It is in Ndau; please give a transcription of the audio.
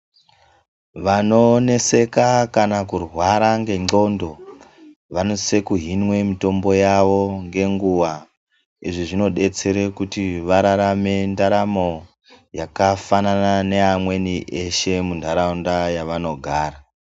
Vanoneseka kana kurwara n'gengondo vanosise kuhinwe mitombo yavo ngenguva izvi zvinodetsere kuti vararame ndaramo yakafanana neamweni eshe mundaraunda yavanogara.